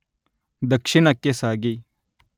ದಕ್ಷಿಣಕ್ಕೆ ಸಾಗಿ